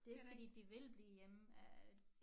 Det ikke fordi de vil blive hjemme øh